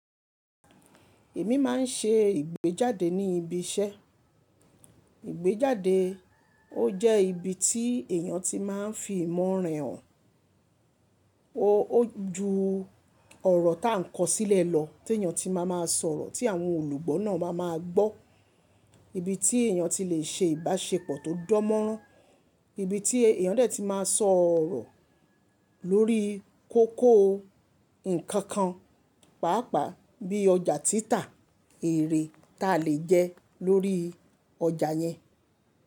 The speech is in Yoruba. Èmi máa ń ṣe ìgbéjáde ní ibi iṣẹ́. Ìgbéjáde ó jẹ́ ibi tí èèyàn ti máa ń fi ìmọ̀ rẹ hàn. Ó ju ọ̀rọ̀ ta ń kọ sílẹ̀ lọ tí èèyàn ti máa máa sọ̀rọ̀ tí àwọn olùgbọ́ náà máa máa gbọ́. Ibi tí èèyàn ti lè ṣe ìbáṣepọ̀ tó dánmọ́nrán. Ibi tí èèyàn dè ti máa sọ̀rọ̀ lórí kókó ǹkan kan, pàápàá bí ọjà títà, ère ta le jẹ́ lórí ọjà yẹn.